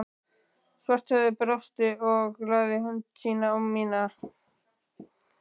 Svarthöfði brosti og lagði hönd sína á mína